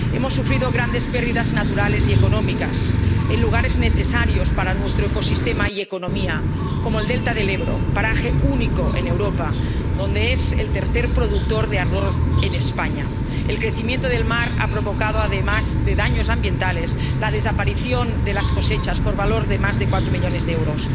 Hemos sufrido grandes pérdidas naturales y económicas en lugares necesarios para nuestro ecosistema y economía como el delta del Ebro —paraje único en Europa y tercer productor de arroz en España—, donde el crecimiento del mar ha provocado, además de daños ambientales, la desaparición de las cosechas por valor de más de cuatro millones de euros